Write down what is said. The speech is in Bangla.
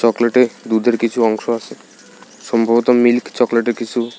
চকলেটে দুধের কিছু অংশ আসে সম্ভবত মিল্ক চকলেটের কিসু।